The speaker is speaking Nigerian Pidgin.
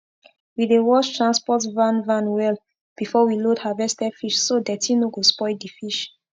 we dey wash transport van van well before we load harvested fish so dirty no go spoil di fish